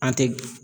An tɛ